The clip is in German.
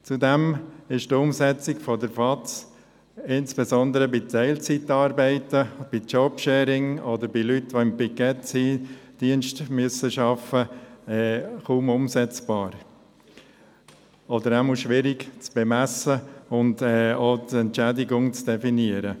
Zudem ist die Umsetzung der Vertrauensarbeitszeit insbesondere bei Teilzeitarbeit, Jobsharing oder bei Leuten, die im Pikettdienst arbeiten müssen, kaum umsetzbar oder zumindest schwierig zu bemessen, um die Entschädigung zu definieren.